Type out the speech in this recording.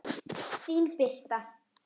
Þín Birta.